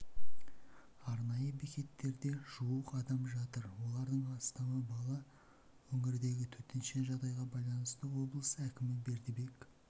арнайы бекеттерде жуық адам жатыр олардың астамы бала өңірдегі төтенше жағдайға байланысты облыс әкімі бердібек